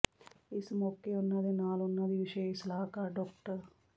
ਇਸ ਮੌਕੇ ਉਨ੍ਹਾਂ ਦੇ ਨਾਲ ਉਨਾਂ ਦੀ ਵਿਸ਼ੇਸ਼ ਸਲਾਹਕਾਰ ਡਾ